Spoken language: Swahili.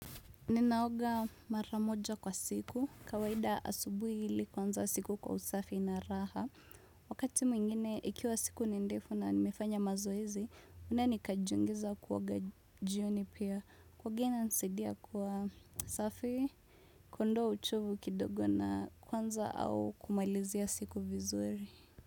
Ninaoga mara moja kwa siku kawaida asubui hili kuanza siku kwa usafi ina raha wakati mwingine ikiwa siku ni ndefu na nimefanya mazoezi unani kajungiza kuoga jioni pia kuoga inanisaidia kwa usafi kuondoa uchovu kidogo na kuanza au kumalizia siku vizuri.